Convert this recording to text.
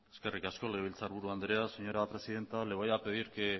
eskerrik asko legebiltzar buru andrea señora presidenta le voy a pedir que